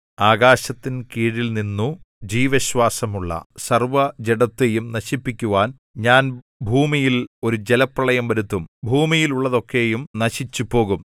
ആകാശത്തിൻ കീഴിൽനിന്നു ജീവശ്വാസമുള്ള സർവ്വജഡത്തെയും നശിപ്പിക്കുവാൻ ഞാൻ ഭൂമിയിൽ ഒരു ജലപ്രളയം വരുത്തും ഭൂമിയിലുള്ളതൊക്കെയും നശിച്ചുപോകും